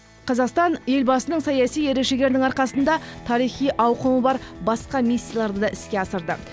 қазақстан елбасының саяси ерік жігерінің арқасында тарихи ауқымы бар басқа миссияларды да іске асырды